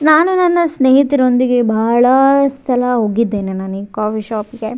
ನಾನು ನನ್ನ ಸ್ನೇಹಿತರೊಂದಿಗೆ ಬಹಳ ಸಲ ಹೋಗಿದ್ದೇನೆ ನಾನ್ ಈ ಕಾಫಿ ಶಾಪ್ಗೆ .